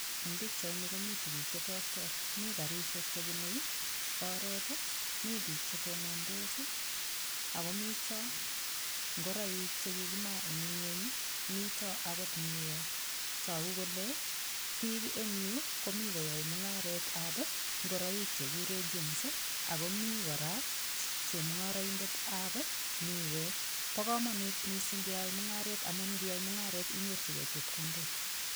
Eng' pikchaini komito tukuk cheterter mi karishek chebunei oret mi biik chetondos ako mito ngoroik chekikimaa eng' ing'weny mito akot miwek toku kole biik eng' yu komi koyoei mung'aretab ngoroik chekikure jeans akomi kora chemung'oroindetab miwek bo komonut mising' keyoei mung'aret amun ngiyai mung'aret inyorchigei chepkondok